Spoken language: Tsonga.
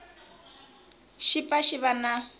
xi pfa xi va na